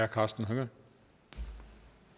konstatere